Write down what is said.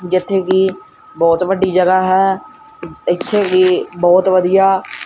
ਜਿੱਥੇ ਕੀ ਬੋਹਤ ਵੱਡੀ ਜਗਾਹ ਹੈ ਏੱਥੇ ਵੀ ਬੋਹਤ ਵਧੀਆ--